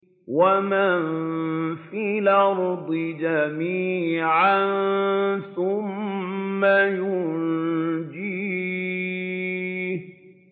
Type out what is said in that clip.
وَمَن فِي الْأَرْضِ جَمِيعًا ثُمَّ يُنجِيهِ